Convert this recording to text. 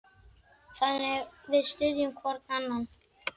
Þannig við styðjum hvorn annan.